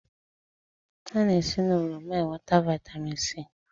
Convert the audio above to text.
A na esi n'oroma enweta Vị́tamị́n C